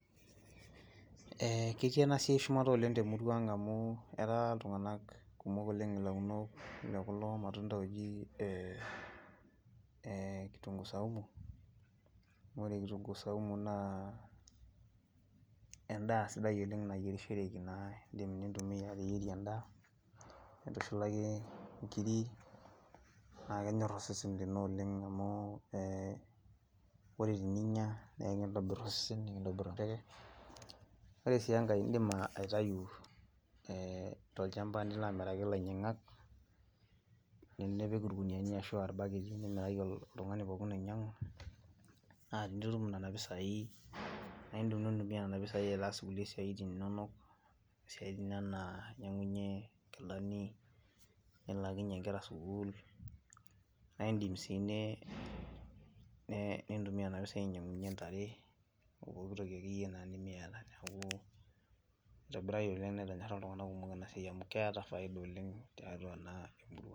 Ketii eena siai shumata oleng toltung'anak temurua ang' amuu ketaa iltung'anak kumok oleng ilaunok le kulo matunda looji kitunguu saumu, ore kitunguu saumu naa en'daa sidai oleng' nayierishoreki naa iidim nintumia ateyierie en'daa, nintushulaki inkiri, naa kenyor osesen lino oleng' amuu oore peyie iinya, naa ekintobir osesen ore sii enkae iidim aitau tolchamba nilo amiraki ilainyiang'ak, nipik irkuniyiani arashu aa irbaketi nimiraki oltung'ani pooki ooba enaa oloinyiang'u, naa tenitum nena pisai naa iidim nintumia nena pisai aasie inkulie siaitin inonok, isiaitin enaa inyiang'unyie inkilani, nilaakinyie inkera sukuul, naidim sii nintumia nena pisai ainyiang'unyie intare, opooki toki akeyie naa nemiata. Niaku eitobiritae oleng ena siai amuu keeta faida temurua ang'.